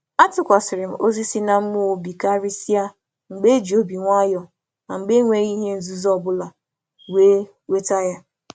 A tụkwasị m amámịhe ime mmụọ obi, ma ọ bụrụ um na e nyere ya na isi àlà na mmeghe.